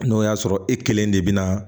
N'o y'a sɔrɔ e kelen de bɛ na